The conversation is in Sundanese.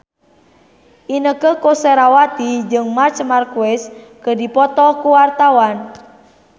Inneke Koesherawati jeung Marc Marquez keur dipoto ku wartawan